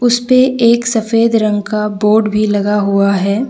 उसपे एक सफेद रंग का बोर्ड भी लगा हुआ है।